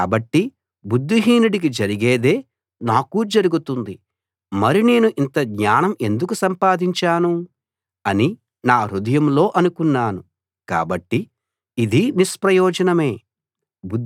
కాబట్టి బుద్ధిహీనుడికి జరిగేదే నాకూ జరుగుతుంది మరి నేను ఇంత జ్ఞానం ఎందుకు సంపాదించాను అని నా హృదయంలో అనుకున్నాను కాబట్టి ఇదీ నిష్ప్రయోజనమే